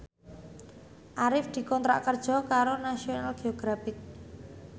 Arif dikontrak kerja karo National Geographic